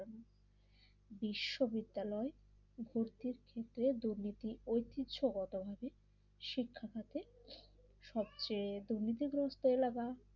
বিশ্ববিদ্যালয় ভর্তির ক্ষেত্রে দুর্নীতি ঐতিহ্যগতভাবে শিক্ষা খাতে সবচেয়ে দুর্নীতিগ্রস্ত এলাকা